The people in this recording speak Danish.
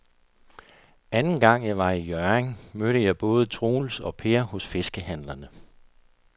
Anden gang jeg var i Hjørring, mødte jeg både Troels og Per hos fiskehandlerne.